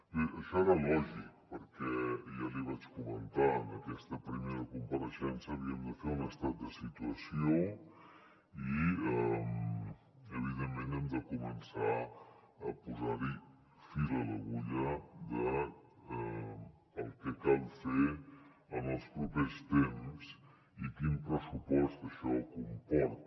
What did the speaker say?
bé això era lògic perquè ja l’hi vaig comentar en aquesta primera compareixença havíem de fer un estat de situació i evidentment hem de començar a posar fil a l’agulla del que cal fer en els propers temps i quin pressupost això comporta